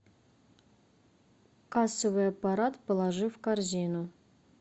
кассовый аппарат положи в корзину